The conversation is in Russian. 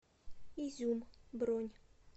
изюм бронь